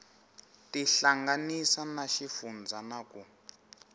tihlanganisa na xifundzha na ku